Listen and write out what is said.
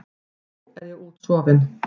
Nú er ég útsofin.